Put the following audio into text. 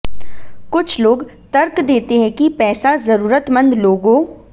कुछ लोग तर्क देते हैं कि पैसा जरूरतमंद लोगों